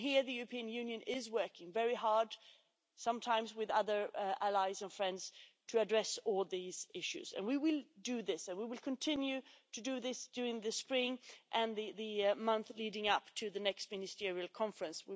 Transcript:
And here the European Union is working very hard, sometimes with other allies and friends, to address all these issues, and we will do this and we will continue to do this during the spring and the month leading up to the next ministerial conference.